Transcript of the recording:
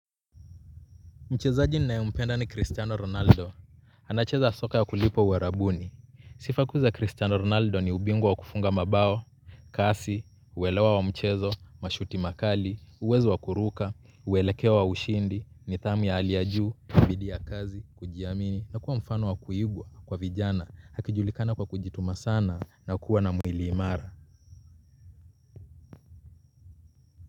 Mchezaji ninayempenda ni Cristiano Ronaldo. Anacheza soka ya kulipwa uarabuni. Sifa kuu za Cristiano Ronaldo ni ubingwa wa kufunga mabao, kasi, uelewa wa mchezo, mashuti makali, uwezo wa kuruka, uelekeo wa ushindi, nidhamu ya hali ya juu, kwa bidii ya kazi, kujiamini, na kuwa mfano wa kuigwa, kwa vijana, akijulikana kwa kujituma sana, na kuwa na mwili imara.